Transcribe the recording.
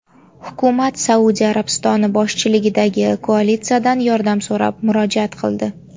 Hukumat Saudiya Arabistoni boshchiligidagi koalitsiyadan yordam so‘rab murojaat qildi.